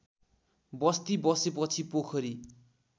बस्ती बसेपछि पोखरी